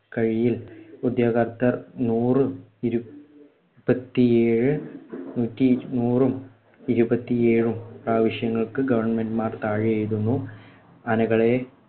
ഉദ്യോഗസ്ഥർ നൂറും ഇരുപത്തിയേഴു നൂറ്റി നൂറും ഇരുപത്തിയേഴും പ്രാവശ്യങ്ങൾക്കു governor മാർ താഴെ എഴുതുന്നു. ആനകളെ